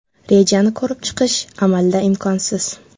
Rejani ko‘rib chiqish amalda imkonsiz.